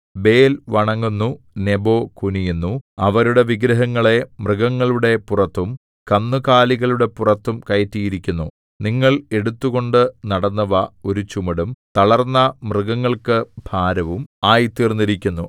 Bel‍ വണങ്ങുന്നു Nebo കുനിയുന്നു അവരുടെ വിഗ്രഹങ്ങളെ മൃഗങ്ങളുടെ പുറത്തും കന്നുകാലികളുടെ പുറത്തും കയറ്റിയിരിക്കുന്നു നിങ്ങൾ എടുത്തുകൊണ്ട് നടന്നവ ഒരു ചുമടും തളർന്ന മൃഗങ്ങൾക്കു ഭാരവും ആയിത്തീർന്നിരിക്കുന്നു